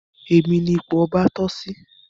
Èmi ní ipò ọba toh sí